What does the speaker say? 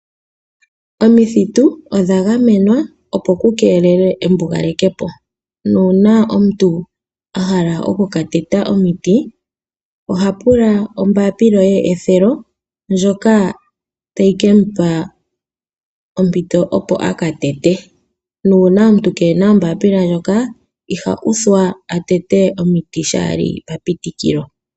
Omithitu odha gamenwa, opo ku keelelwe embugalepo. Uuna omuntu a hala oku ka teta omiti oha pula ombaapila yepitikilo ndjoka hayi mu pitika opo a ka tete. Uuna omuntu kee na ombaapila ndjoka iha uthwa a tete omiti shaa li papitikilo.